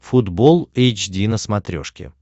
футбол эйч ди на смотрешке